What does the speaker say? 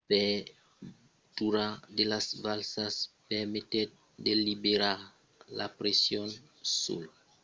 l’obertura de las valvas permetèt de liberar la pression sul sistèma e lo petròli ragèt sus un tampon cap a una sèrva que pòt encabir 55 000 barrils 2,3 milions de galons